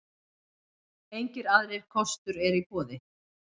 Engir aðrir kostur eru í boði.